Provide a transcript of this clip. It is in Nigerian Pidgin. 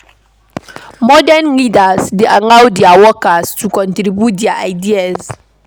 Modern leaders dey allow their workers to contribute their ideas